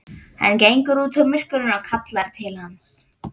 Hann gengur út úr myrkrinu og kallar til hans.